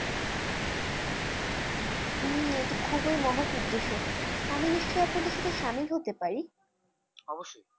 হম এত খুবই মহৎ উদ্দেশ্যে আমি নিশ্চয় আপনাদের সাথে শামিল হতে পারি? অবশ্যই।